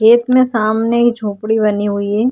खेत में सामने ही झोपडी बनी हुई है।